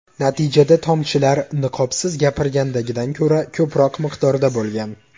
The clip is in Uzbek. Natijada tomchilar niqobsiz gapirgandagidan ko‘ra ko‘proq miqdorda bo‘lgan.